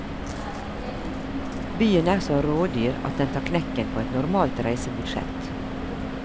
Byen er så rådyr at den tar knekken på et normalt reisebudsjett.